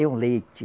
É um leite.